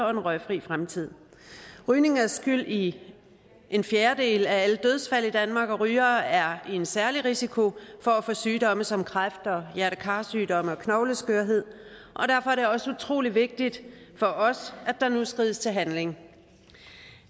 og en røgfri fremtid rygning er skyld i en fjerdedel af alle dødsfald i danmark og rygere er i en særlig risiko for at få sygdomme som kræft og hjerte kar sygdomme og knogleskørhed og derfor er det også utrolig vigtigt for os at der nu skrides til handling